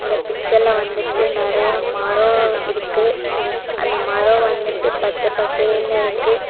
இந்த பிக்சர்ல வந்துட்டு நெறைய மரம் இருக்கு அந்த மரம் வந்துட்டு பச்சை பசேல்னு இருக்கு.